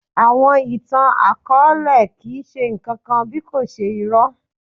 Àwọn ìtàn-akọọlẹ kii ṣe nkankan bí kò ṣe irọ.